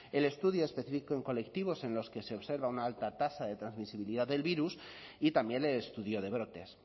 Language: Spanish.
el estudio específico en colectivos en los que se observa una alta tasa de transmisibilidad del virus y también el estudio de brotes